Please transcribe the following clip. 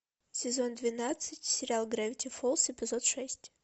сезон двенадцать сериал гравити фолз эпизод шесть